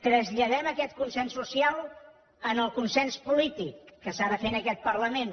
traslladem aquest consens social al consens polític que s’ha de fer en aquest parlament